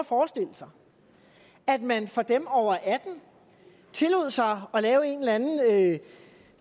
sig at man for dem over atten år tillod sig at lave en eller anden